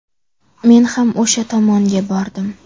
Men ham o‘sha tomonga bordim.